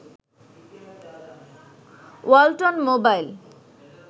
Walton mobile